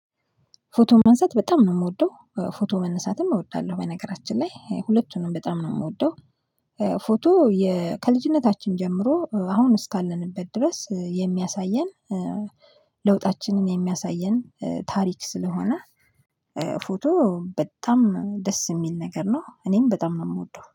ፎቶ ማንሳት በጣም ነው የምወደው። ፎቶ መነሳትም እወዳለሁ በነገራችን ላይ፤ ሁለቱንም በጣም ነው የምወደው። ፎቶ ከልጅነታችን ጀምሮ አሁን እስካለንበት ድረስ የሚያሳየን፤ ለውጣችንን የሚያሳየን፤ ታሪክ ስለሆነ ፎቶ በጣም ደስ የሚል ነገር ነው፤ እኔም በጣም ነው የምወደው።